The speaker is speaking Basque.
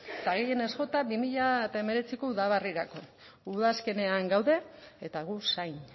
eta gehienez jota bi mila hemeretziko udaberrirako udazkenean gaude eta gu zain